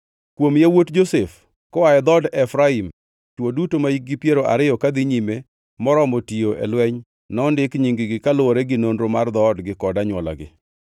Kuom yawuot Josef: Koa e dhood Efraim: Chwo duto mahikgi piero ariyo kadhi nyime moromo tiyo e lweny nondik nying-gi, kaluwore gi nonro mar dhoodgi kod anywolagi.